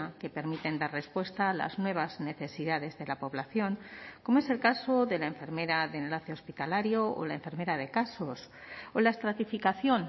que permiten dar respuesta a las nuevas necesidades de la población como es el caso de la enfermera de enlace hospitalario o la enfermera de casos o la estratificación